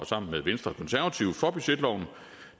sammen med venstre og konservative for budgetloven